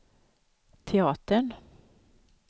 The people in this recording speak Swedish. teatern